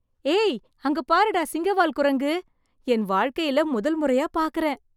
ஏய் அங்க பாருடா சிங்கவால் குரங்கு. என் வாழ்க்கையில முதல் முறையா பாக்கறேன்!